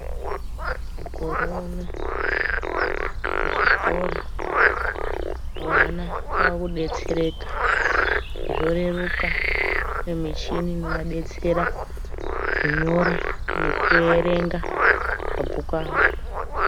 Mukoro uno kuchikora vana vave kudetsereka zvoreruka kwane michini inovadetsera kunyora nekuverenga mabhuku avo.